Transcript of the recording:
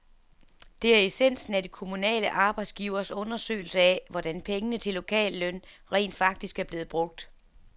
Det er essensen af de kommunale arbejdsgiveres undersøgelse af, hvordan pengene til lokalløn rent faktisk er blevet brugt.